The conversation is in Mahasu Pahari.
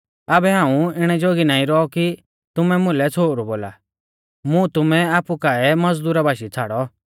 आबै हाऊं इणै जोगी नाईं रौ कि तुमै मुलै छ़ोहरु बोला मुं तुमै आपु काऐ एक मज़दुरा बाशीऐ छ़ाड़ौ